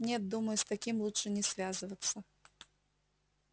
нет думаю с таким лучше не связываться